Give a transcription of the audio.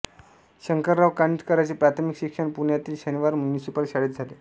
शंकरराव कानिटकरांचे प्राथमिक शिक्षण पुण्यातील शनिवार म्युनिसिपल शाळेत झाले